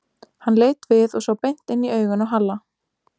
Hann leit við og sá beint inn í augun á Halla.